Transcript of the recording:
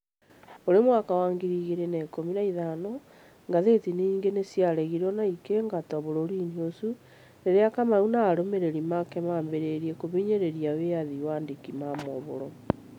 Kũrĩ mwaka wa ngiriigĩrĩ na ikũmi na ithano, ngathĩti nyingĩ nĩ ciaregirũo na igĩingatwo bũrũri-inĩ ũcio, rĩrĩa Kamau na arũmĩrĩri ake maambĩrĩirie kũhinyĩrĩria wĩyathi wa andĩki a mohoro.